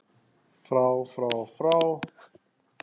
FRÁ FRÁ FRÁ